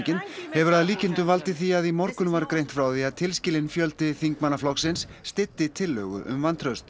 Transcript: hefur að líkindum valdið því að í morgun var greint frá því að tilskilinn fjöldi þingmanna flokksins styddi tillögu um vantraust